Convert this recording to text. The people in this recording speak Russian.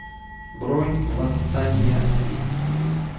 бронь восстания один